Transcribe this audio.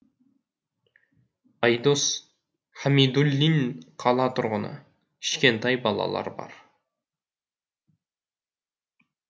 айдос хамидуллин қала тұрғыны кішкентай балалар бар